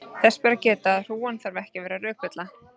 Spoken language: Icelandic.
Þess ber að geta að hrúgan þarf ekki að vera rökvilla.